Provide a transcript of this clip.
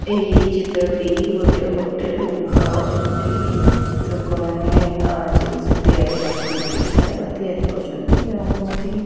ଏଇ ଚିତ୍ର ଟି ଗୋଟେ ହୋଟେଲ ରୁମ ର ଯେଉଁଠି ଲୋକ ମାନେ ଜିନିଷ ତିଆରି କରୁଛନ୍ତି। ଖାଇବା ତିଆରି କରୁଛନ୍ତି। ଆଉ ସେଠି।